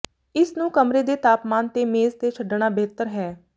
ਇਸ ਨੂੰ ਕਮਰੇ ਦੇ ਤਾਪਮਾਨ ਤੇ ਮੇਜ਼ ਤੇ ਛੱਡਣਾ ਬਿਹਤਰ ਹੈ